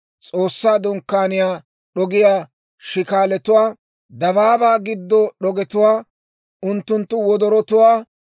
S'oossaa Dunkkaaniyaa d'ogiyaa shikaalatuwaa, dabaabaa giddo d'ogetuwaa unttunttu wodorotuwaa;